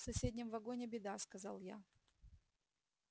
в соседнем вагоне беда сказал я